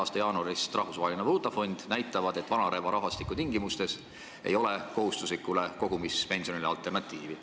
a jaanuaris Rahvusvahelise Vaalutafondi avaldatu, näitavad, et vananeva rahvastiku tingimustes ei ole kohustuslikule kogumispensionile alternatiivi.